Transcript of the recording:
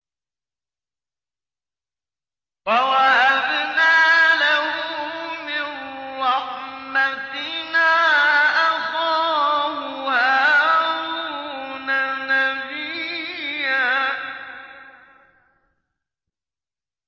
وَوَهَبْنَا لَهُ مِن رَّحْمَتِنَا أَخَاهُ هَارُونَ نَبِيًّا